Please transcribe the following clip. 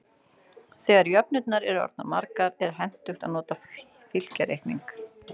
Þegar jöfnurnar eru orðnar margar er hentugt að nota fylkjareikning.